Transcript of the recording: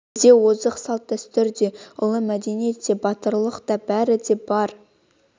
бізде озық салт-дәстүр де ұлы мәдениет те батырлық та бәрі де бар